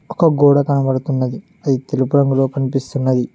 ఒక గోడ కనబడుతున్నది తెలుపు రంగులో కనిపిస్తున్నది.